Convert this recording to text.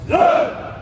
Sol!